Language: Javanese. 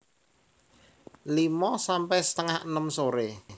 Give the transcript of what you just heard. limo sampe setengah enem sore